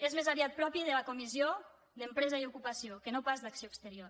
és més aviat propi de la comissió d’empresa i ocupació que no pas d’acció exterior